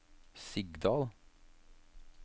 Sigdal